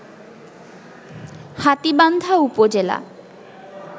হাতীবান্ধা উপজেলা